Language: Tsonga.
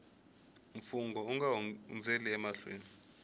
mfungho u nga hundzeli emahlweni